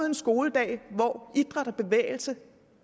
en skoledag hvor idræt og bevægelse